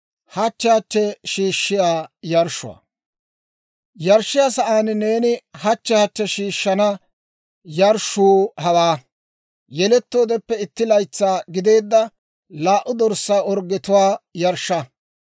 «Yarshshiyaa sa'aan neeni hachche hachche shiishshana yarshshuu hawaa. Yelettoodeppe itti laytsaa gideedda laa"u dorssaa orggetuwaa yarshsha.